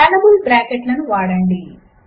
scalable బ్రాకెట్లను వాడండి